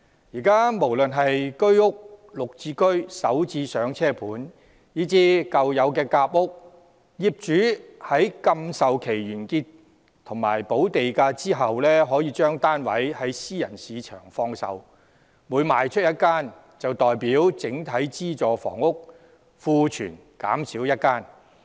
現時無論是居屋、綠表置居計劃、港人首次置業先導項目，以至舊有的夾心階層住屋計劃，業主在禁售期完結及補地價後，可把單位於私人市場放售，每賣出1間，便代表整體資助房屋庫存減少1間。